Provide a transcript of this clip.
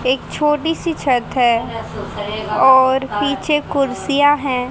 एक छोटी सी छत है और पीछे कुर्सियां है।